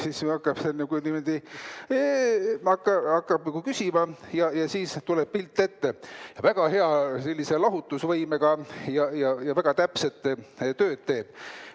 Siis see hakkab nagu niimoodi küsima, siis tuleb pilt ette, väga hea lahutusvõimega ja väga täpset tööd teeb.